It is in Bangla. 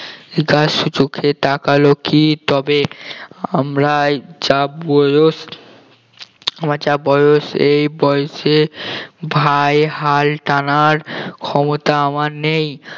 জিজ্ঞাসু চোখে তাকালো কি তবে আমরাই যা বয়স আমার যা বয়স এই বয়সে ভাই হাল টানার ক্ষমতা আমার নেই